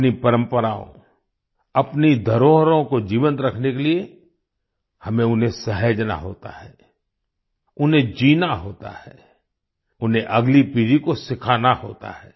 अपनी परम्पराओं अपनी धरोहरों को जीवंत रखने के लिए हमें उन्हें सहेजना होता है उन्हें जीना होता है उन्हें अगली पीढ़ी को सिखाना होता है